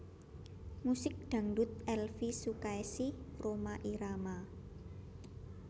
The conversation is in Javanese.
Musik Dangdut Elvie Sukaesih Rhoma Irama